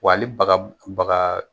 Wa hali baga baga